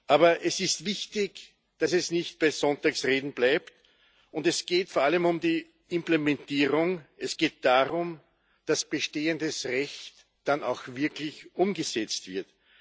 Aber es ist wichtig, dass es nicht bei Sonntagsreden bleibt. Und es geht vor allem um die Implementierung, es geht darum, dass bestehendes Recht dann auch wirklich umgesetzt wird.